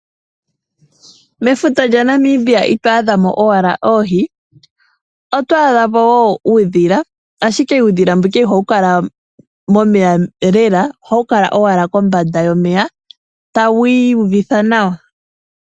Mefuta lyaNamibia ito adha mo owala oohi, oto adha mo wo uudhila ashike uudhila mbuka iha wu momeya lela, oha wu kala kombanda yomeya tawu iyuvitha nawa.